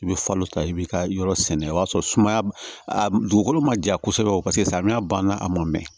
I bɛ falo ta i bɛ ka yɔrɔ sɛnɛ o y'a sɔrɔ sumaya dugukolo ma ja kosɛbɛ paseke samiya banna a mɔ mɛn